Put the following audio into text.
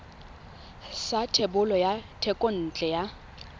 sa thebolo ya thekontle ya